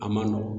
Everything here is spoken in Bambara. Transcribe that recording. A man nɔgɔn